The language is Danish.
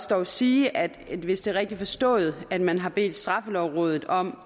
dog sige at hvis det er rigtigt forstået at man har bedt straffelovrådet om